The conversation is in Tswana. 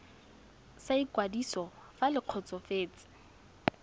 sa ikwadiso fa le kgotsofetse